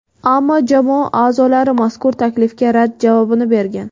Ammo jamoa a’zolari mazkur taklifga rad javobini bergan.